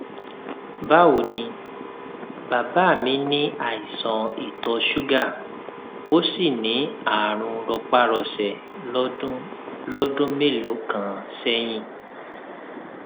báwo ni bàbá mí ní àìsàn ìtọ ṣúgà ó sì ní àrùn rọpárọsẹ lọdún lọdún mélòó kan sẹyìn